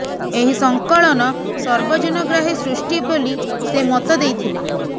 ଏହି ସଂକଳନ ସର୍ବଜନ ଗ୍ରାହୀ ସୃଷ୍ଟି ବୋଲି ସେ ମତ ଦେଇଥିଲେ